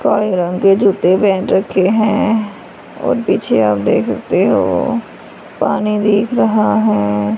पैरों के जूते पेहन रखें हैं और पीछे आप देख सकते हो पानी दिख रहा हैं।